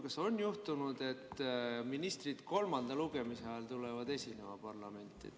Kas on juhtunud, et ministrid kolmanda lugemise ajal veel tulevad parlamenti esinema?